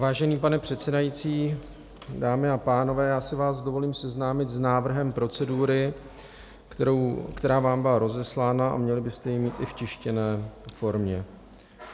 Vážený pane předsedající, dámy a pánové, já si vás dovolím seznámit s návrhem procedury, která vám byla rozeslána a měli byste ji mít i v tištěné formě.